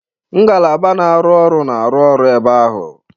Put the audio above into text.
Ngalaba na-arụ ọrụ na-arụ ọrụ ebe ahụ.